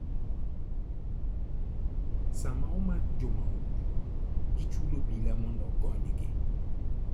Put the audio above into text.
Sama omak jo mahundu, gichulo obila mondo ogonygi.